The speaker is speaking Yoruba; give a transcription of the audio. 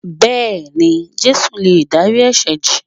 Bẹ́ẹ̀ni, Jésù lè dárí ẹ̀sẹ̀ jì